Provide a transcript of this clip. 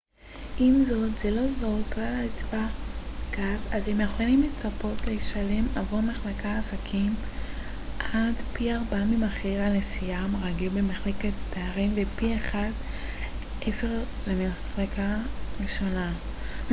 עם זאת זה לא זול ככלל אצבע גס אתם יכולים לצפות לשלם עבור מחלקת עסקים עד פי ארבעה ממחיר הנסיעה הרגיל במחלקת תיירים ופי אחד עשר למחלקה ראשונה